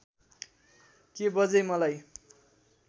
के बज्यै मलाई